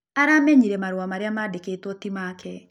Aramenyĩre marũa marĩa mandĩkĩtwo tĩ make